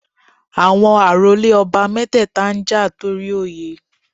Àwọn àrólé ọba mẹ́tẹ̀ẹ̀ta ń jà torí Oyè